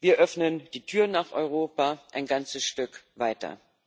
Wir öffnen die Tür nach Europa ein ganzes Stück weiter.